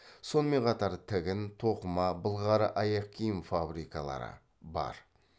сонымен қатар тігін тоқыма былғары аяқкиім фабрикалары бар